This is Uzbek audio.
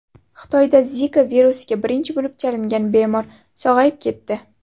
Xitoyda Zika virusiga birinchi bo‘lib chalingan bemor sog‘ayib ketdi.